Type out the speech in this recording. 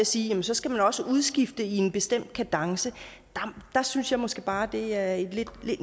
sige at så skal man også udskifte i en bestemt kadence så synes jeg måske bare at det er en